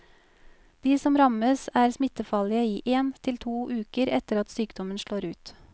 De som rammes er smittefarlige i én til to uker etter at sykdommen slår ut.